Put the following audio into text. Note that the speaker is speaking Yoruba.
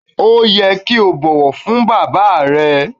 O yẹ ki o bọwọ fun baba rẹ.